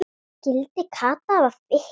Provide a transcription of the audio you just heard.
Skyldi Kata hafa fitnað?